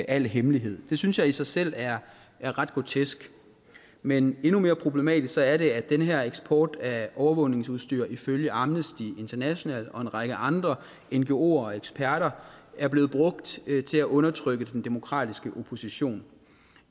al hemmelighed det synes jeg i sig selv er ret grotesk men endnu mere problematisk er det at den her eksport af overvågningsudstyr ifølge amnesty international og en række andre ngoer og eksperter er blevet brugt til at undertrykke den demokratiske opposition